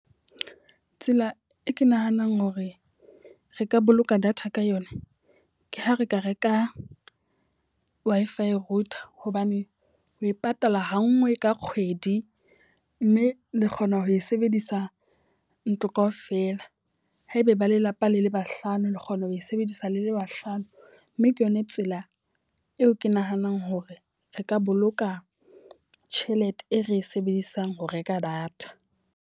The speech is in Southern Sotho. Tsela e ke nahanang hore re ka boloka data ka yona, ke ha re ka reka Wi-Fi router. Hobane o e patala ha nngwe ka kgwedi. Mme le kgona ho e sebedisa ntlo k aofela. Haebe ba lelapa le le bahlano, le kgona ho e sebedisa le le bahlano. Mme ke yona tsela eo ke nahanang hore re ka boloka tjhelete e re e sebedisang ho reka data.